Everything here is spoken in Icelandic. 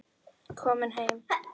Komin heim?